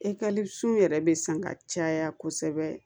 yɛrɛ bɛ san ka caya kosɛbɛ